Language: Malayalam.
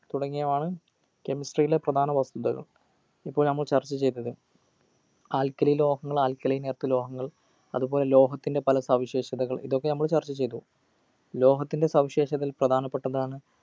തുടങ്ങിയവയാണ് chemistry യിലെ പ്രധാന വസ്തുതകൾ ഇപ്പോൾ നമ്മൾ ചർച്ചചെയ്തത് alkali ലോഹങ്ങൾ alkalin earth ലോഹങ്ങൾ അതുപോലെ ലോഹത്തിൻ്റെ പല സവിശേഷതകൾ ഇതൊക്കെ നമ്മൾ ചർച്ച ചെയ്തു ലോഹനത്തിൻ്റ സവിശേഷതയിൽ പ്രധാനപ്പെട്ടതാണ്